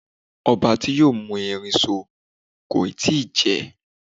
Ọba ti yoo mú erin so kò ì tí ì jẹ